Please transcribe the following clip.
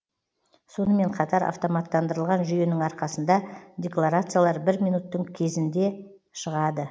сонымен қатар автоматтандырылған жүйенің арқасында декларациялар бір минуттың кезінде шығады